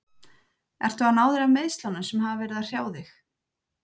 Ertu að ná þér af meiðslunum sem hafa verið að hrjá þig?